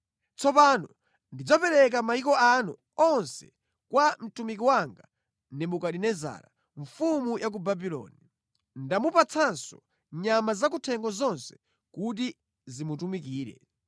Tsopano ndidzapereka mayiko anu onse kwa mtumiki wanga Nebukadinezara mfumu ya ku Babuloni. Ndamupatsanso nyama zakuthengo zonse kuti zimutumikire.